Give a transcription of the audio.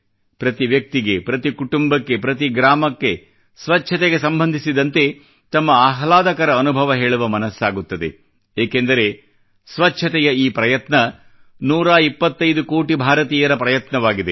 ಪ್ರತಿ ವ್ಯಕ್ತಿಗೆ ಪ್ರತಿ ಕುಟುಂಬಕ್ಕೆ ಪ್ರತಿ ಗ್ರಾಮಕ್ಕೆ ಸ್ವಚ್ಛತೆಗೆ ಸಂಬಂಧಿಸಿದಂತೆ ತಮ್ಮ ಆಹ್ಲಾದಕರ ಅನುಭವ ಹೇಳುವ ಮನಸ್ಸಾಗುತ್ತದೆ ಏಕೆಂದರೆ ಸ್ವಚ್ಛತೆಯ ಈ ಪ್ರಯತ್ನ ನೂರಾ ಇಪ್ಪತೈದು ಕೋಟಿ ಭಾರತೀಯರ ಪ್ರಯತ್ನವಾಗಿದೆ